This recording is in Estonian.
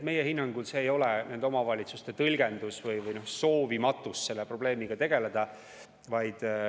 Meie hinnangul asi ei ole nende omavalitsuste tõlgenduses või soovimatuses selle probleemiga tegeleda.